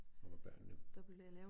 Og hvor børnene